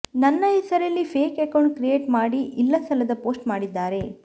ನನ್ನ ಹೆಸರಲ್ಲಿ fake account create ಮಾಡಿ ಇಲ್ಲಸಲ್ಲದ ಪೋಸ್ಟ್ ಮಾಡಿದ್ದಾರೆ